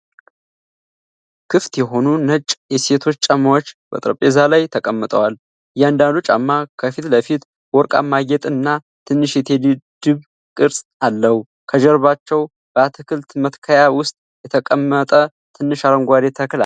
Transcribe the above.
ክፍት የሆኑ ነጭ የሴቶች ጫማዎች በጠረጴዛ ላይ ተቀምጠዋል። እያንዳንዱ ጫማ ከፊት ለፊት ወርቃማ ጌጥ እና ትንሽ የቴዲ ድብ ቅርፅ አለው። ከጀርባቸው በአትክልት መትከያ ውስጥ የተቀመጠ ትንሽ አረንጓዴ ተክል አለ።